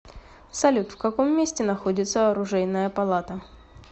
салют в каком месте находится оружейная палата